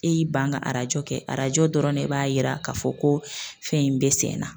E y'i ban ka arajo kɛ arajo dɔrɔn de b'a yira k'a fɔ ko fɛn in bɛ senna.